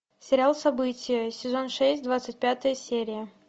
сериал событие сезон шесть двадцать пятая серия